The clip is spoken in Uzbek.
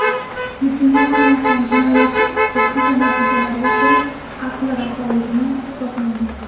Shunga qaramasdan jinoyatchi ekspertiza natijalariga ko‘ra, aqli rasoligi isbotlangan.